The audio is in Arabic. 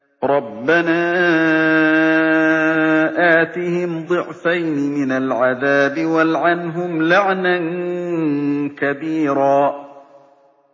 رَبَّنَا آتِهِمْ ضِعْفَيْنِ مِنَ الْعَذَابِ وَالْعَنْهُمْ لَعْنًا كَبِيرًا